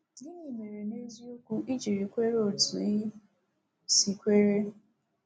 Gịnị mere, n’eziokwu, i ji kweere otu ị si kweere?